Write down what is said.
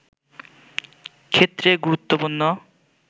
ক্ষেত্রে গুরুত্বপূর্ণ